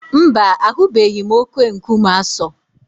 Mba, ahụbeghị m oke-nkume Aso.